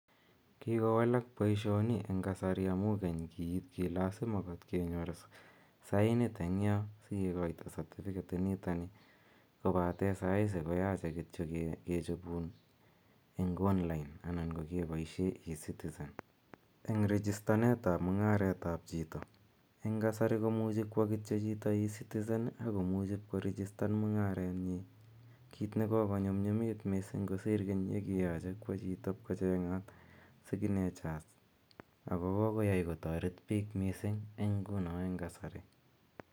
Kokowalak boishoni en kasari amun keny kii lasima kot kenyor saint eng' yoon sikikoito certificate initon nii kobaten saisi ko koyoche kityok kechobun en online anan ko kechoben ecitizen, en rigistanetab mung'aretab choito eng' kasari komuchi kwoo kityo chito ecitizen ak komuch korigistan mung'arenyin kiit nekokonyumnyumit mising kosir Keny yekiyoche kwoo chito iib kocheng'at signatures ak ko kokoyai kotoret biik mising eng' ng'unon eng' kasari.